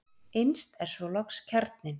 Innst er svo loks kjarninn.